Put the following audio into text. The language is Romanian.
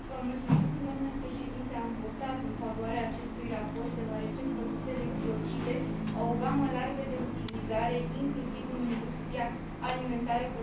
Am votat în favoarea acestui raport deoarece produsele biocide au o gamă largă de utilizare, inclusiv în industria alimentară, cosmetică și textilă.